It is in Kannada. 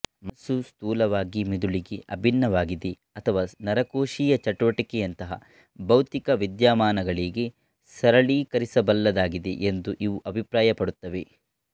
ಮನಸ್ಸು ಸ್ಥೂಲವಾಗಿ ಮಿದುಳಿಗೆ ಅಭಿನ್ನವಾಗಿದೆ ಅಥವಾ ನರಕೋಶೀಯ ಚಟುವಟಿಕೆಯಂತಹ ಭೌತಿಕ ವಿದ್ಯಮಾನಗಳಿಗೆ ಸರಳೀಕರಿಸಬಲ್ಲದ್ದಾಗಿದೆ ಎಂದು ಇವು ಅಭಿಪ್ರಾಯಪಡುತ್ತವೆ